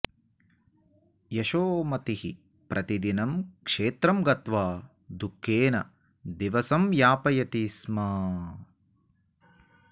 यशोमतिः प्रतिदिनं क्षेत्रं गत्वा दुःखेन दिवसं यापयति स्म